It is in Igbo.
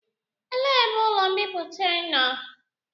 Elee ebe ụlọ mbipụta nọ?